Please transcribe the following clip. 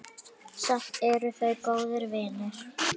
Samt eru þau góðir vinir.